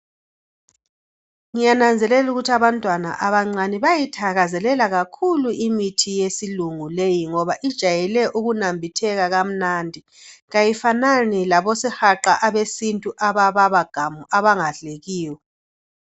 Ngiyananzelela ukuthi abantwana abancane bayayithakazelela kakhulu imithi yesilungu leyi ngoba ijayele ukunambitheka kamnandi kayifanani labosihaqa abesintu abababa gamu abangadlekiyo.